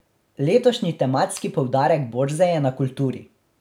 Letošnji tematski poudarek borze je na kulturi.